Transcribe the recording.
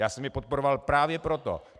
Já jsem ji podporoval právě proto.